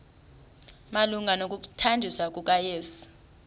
malunga nokuthanjiswa kukayesu